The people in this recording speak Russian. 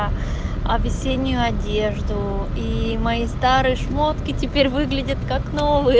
а а весеннюю одежду и мои старые шмотки теперь выглядит как новые